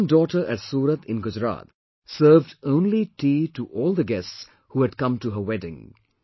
One daughter at Surat in Gujarat served only tea to all the guests who had come to her wedding